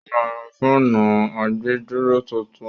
ó ma ra fáànù àgbèdúró tuntun.